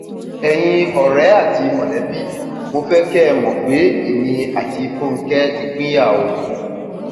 ẹyin ọrẹ àti mọlẹbí mo fẹ kẹ ẹ mọ pé èmi àti fúnge ti pínyà o